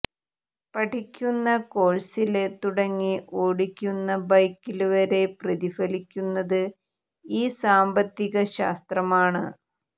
പഠിക്കുന്ന കോഴ്സില് തുടങ്ങി ഓടിക്കുന്ന ബൈക്കില് വരെ പ്രതിഫലിക്കുന്നത് ഈ സാമ്പത്തിക ശാസ്ത്രമാണ്